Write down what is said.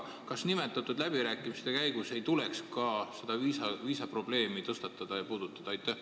Kas nimetatud läbirääkimiste käigus ei tuleks ka viisaprobleemi tõstatada ja puudutada?